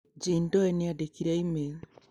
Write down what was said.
Jane Doe nĩandĩkĩire e-mail.